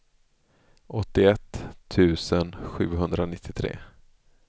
åttioett tusen sjuhundranittiotre